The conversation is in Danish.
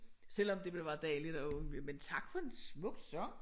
Selvom det ville være dejligt at undgå men tak for en smuk sang